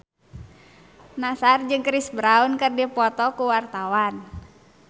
Nassar jeung Chris Brown keur dipoto ku wartawan